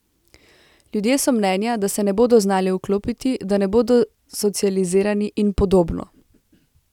Ljudje so mnenja, da se ne bodo znali vklopiti, da ne bodo socializirani in podobno!